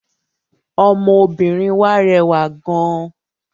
Ọmọbìnrin wà rẹwà gán.